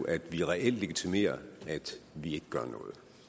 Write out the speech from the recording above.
at vi reelt legitimerer at vi ikke gør noget